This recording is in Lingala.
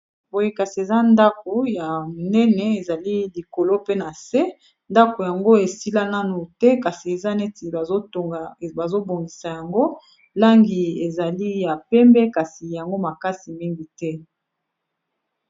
Boye kasi eza ndako ya munene ezali likolo mpe na se ndako yango esila nanu te, kasi eza neti bazobongisa yango langi ezali ya pembe kasi yango makasi mingi te!